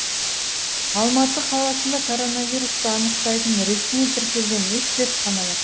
алматы қаласында коронавирусты анықтайтын ресми тіркелген үш зертхана бар